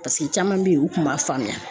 paseke caman be yen u kun b'a faamuya.